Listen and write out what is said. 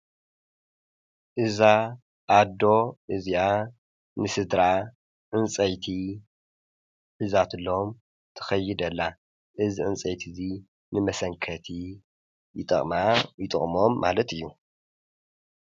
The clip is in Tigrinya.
እዛ ኣዶ እዚኣ ንስድራ ዕንፀይቲ ሒዛትሎም ትኸይድ ኣላ እዚ ዕንፀይቲ እዚ ንመሰንከቲ ይጠቅማ፣ ይጠቅሞም ማለት እዩ ።